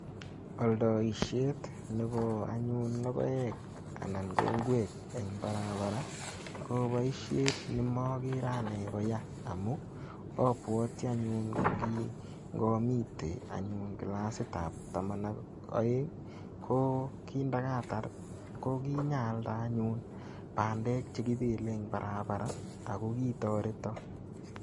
Aldoisiet nebo anyun logoek anan ko ingwek eng barabara ko boisiet nemagere anne koya amu abwoti anyun ko kingomiten kilasitab taman ak aeng, ko ndakatar ko kinyaalde anyun bandek che kibele eng barabara ago kitoreta.